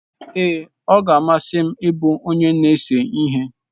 Ee, ọ ga-amasị m ịbụ onye na-ese ihe.